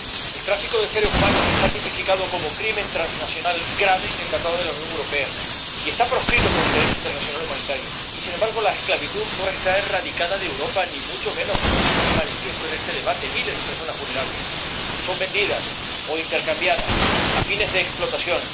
El tráfico de seres humanos está tipificado como crimen transnacional grave en el Tratado de la Unión Europea y está proscrito por el Derecho internacional humanitario. Y, sin embargo, la esclavitud no está ni mucho menos erradicada de Europa, como se pone de manifiesto en este debate. Miles de personas vulnerables son vendidas o intercambiadas a fines de explotación